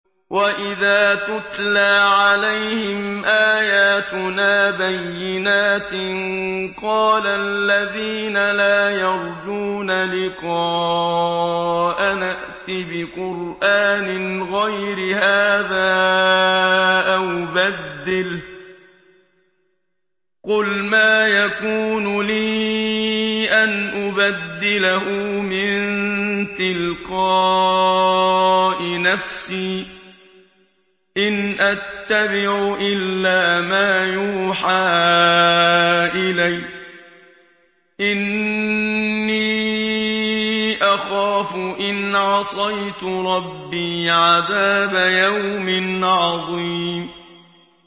وَإِذَا تُتْلَىٰ عَلَيْهِمْ آيَاتُنَا بَيِّنَاتٍ ۙ قَالَ الَّذِينَ لَا يَرْجُونَ لِقَاءَنَا ائْتِ بِقُرْآنٍ غَيْرِ هَٰذَا أَوْ بَدِّلْهُ ۚ قُلْ مَا يَكُونُ لِي أَنْ أُبَدِّلَهُ مِن تِلْقَاءِ نَفْسِي ۖ إِنْ أَتَّبِعُ إِلَّا مَا يُوحَىٰ إِلَيَّ ۖ إِنِّي أَخَافُ إِنْ عَصَيْتُ رَبِّي عَذَابَ يَوْمٍ عَظِيمٍ